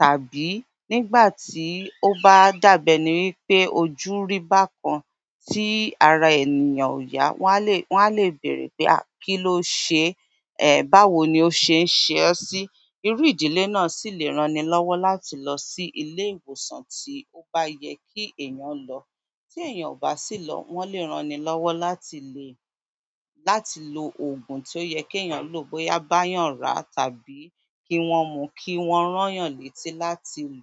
Tàbí nígbà tí ó bá dàbẹ̀ ni wípé ojú rí bákan tí ara ènìyàn ò yá, wọn a lè, wọn a lè bèèrè pé a kí ló ṣe, è, báwo ni ó ṣe ń ṣe ọ́ sí. Irú ìdílé náà sì lè rán ni lọ́wọ́ láti lọ sí ilé-ìwòsàn tí ó bá yẹ kí èeyàn lọ. Tí èeyàn ò bá sì lọ, wọ́n lè rán ni lọ́wọ́ láti le, láti lo òògùn tó yẹ kí èeyàn lò bóyá bá yàn ra tàbí kí wọ́n mú kí wọ́n rán yàn létí láti lò.